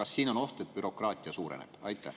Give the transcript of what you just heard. Kas siin on oht, et bürokraatia suureneb?